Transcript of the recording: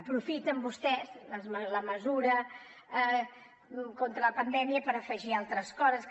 aprofiten vostès la mesura contra la pandèmia per afegir altres coses que